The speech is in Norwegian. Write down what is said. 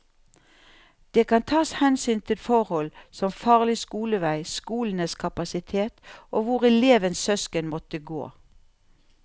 Det kan tas hensyn til forhold som farlig skolevei, skolenes kapasitet og hvor elevens søsken måtte gå.